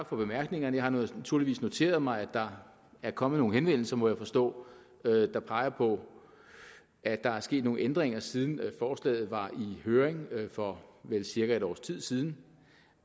for bemærkningerne jeg har naturligvis noteret mig at der er kommet nogle henvendelser må jeg forstå der peger på at der er sket nogle ændringer siden forslaget var i høring for vel cirka et års tid siden